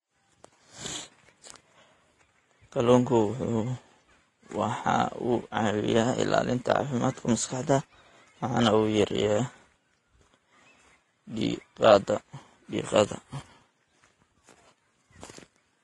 Kalluunku waxa uu caawiyaa ilaalinta caafimaadka maskaxda waxana uu yareeyaa diiqada.